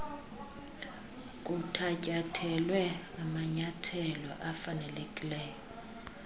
kuthatyathelwa amanyathelo afanelekileyo